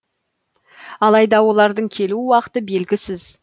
алайда олардың келу уақыты белгісіз